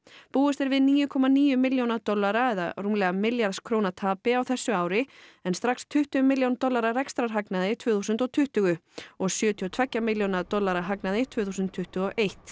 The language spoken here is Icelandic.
búist er við níu komma níu milljóna dollara eða rúmlega milljarðs króna tapi á þessu ári en strax tuttugu milljóna dollara rekstrarhagnaði tvö þúsund tuttugu og sjötíu og tveggja milljóna dollara hagnaði tvö þúsund tuttugu og eitt